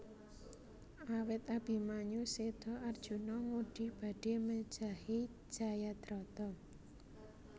Awit Abimanyu séda Arjuna ngudi badhé mejahi Jayadrata